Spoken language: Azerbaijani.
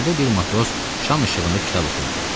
İçəridə bir matros şam işığında kitab oxuyurdu.